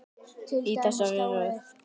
Í þessari röð.